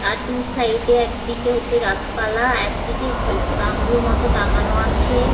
আর দু সাইডে একদিকে হচ্ছে গাছপালা একদিকে এক তাম্বুর মতন টাঙানো আছে ।